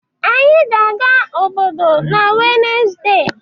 Anyị ga-aga obodo n'Wednesde.